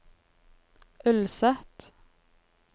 Ulset